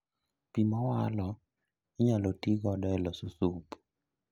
Pii mowalo inyalo tii godo e loso sup